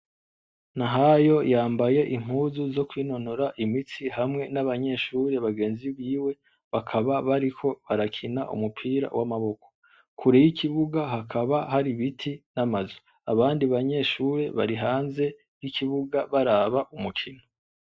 Nahayo yambaye impuzu zo kwinonora imitsi hamwe n'abanyeshure bagenzi biwe bakaba bariko barakina umupira w'amaboko, kure y'ikibuga hakaba hari ibiti n'amazu, abandi banyeshure bari hanze y'ikibuga baraba umukino.